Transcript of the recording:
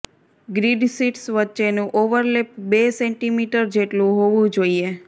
grid sheets વચ્ચેનું overlap બે centimetre જેટલું હોવું જોઈએ